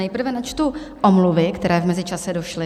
Nejprve načtu omluvy, které v mezičase došly.